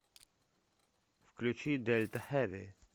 включи дэльта хэви